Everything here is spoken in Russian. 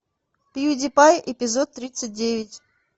пьюдипай эпизод тридцать девять